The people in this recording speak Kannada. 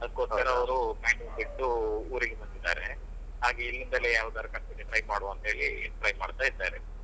ಅದ್ಕೊಸ್ಕರ ಅವ್ರು ಬ್ಯಾಂಗ್ಳೂರ್ ಬಿಟ್ಟು ಊರಿಗೆ ಬಂದಿದಾರೆ ಹಾಗೆ ಇಲ್ಲಿಂದಲೇ ಯಾವದಾದ್ರು company ಗೆ try ಮಾಡುವಾಂತ ಹೇಳಿ try ಮಾಡ್ತಾ ಇದ್ದಾರೆ.